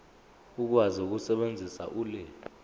ukwazi ukusebenzisa ulimi